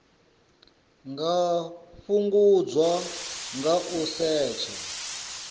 nga fhungudzwa nga u setsha